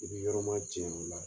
I b'i yɔrɔ ma janya o la